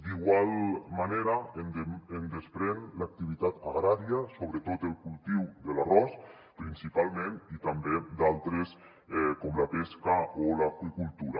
d’igual manera en desprèn l’activitat agrària sobretot el cultiu de l’arròs principalment i també d’altres com la pesca o l’aqüicultura